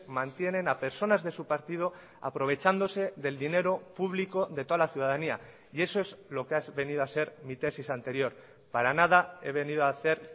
mantienen a personas de su partido aprovechándose del dinero público de toda la ciudadanía y eso es lo que ha venido a ser mi tesis anterior para nada he venido a hacer